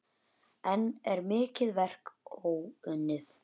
Enn er mikið verk óunnið.